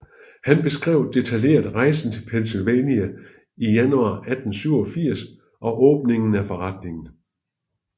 Han beskrev detaljeret rejsen til Pennsylvania i januar 1887 og åbningen af forretningen